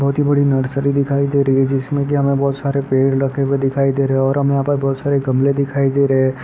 बहुत ही बड़ी नर्सरी दिखाई दे रही है जिसमे की हमें बहुत सारे पेड़ लगे हुए दिखाई दे रहें हैं और हमे यहां पर बहुत सारे गमले दिखाई दे रहें हैं।